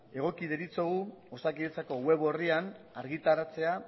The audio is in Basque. egoki deritzogu osakidetzako web orrian argitaratzea